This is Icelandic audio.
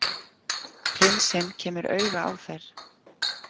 Prinsinn kemur auga á þær.